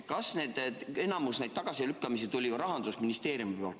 Enamik neid tagasilükkamisi tuli Rahandusministeeriumilt.